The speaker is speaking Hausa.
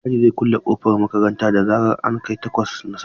Mai gadi zai kulle kofar makarantar da zaran an kai takwas na safe.